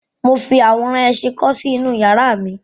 Mo fi àwòrán ẹṣin kọ́ sí inú iyàrá mi.